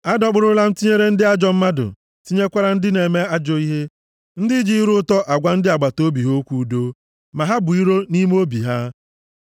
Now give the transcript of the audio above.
Adọkpụrụla m tinyere ndị ajọ mmadụ, tinyekwara ndị na-eme ajọ ihe, ndị ji ire ụtọ agwa ndị agbataobi ha okwu udo, ma ha bu iro nʼime obi ha.